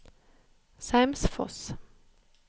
Seimsfoss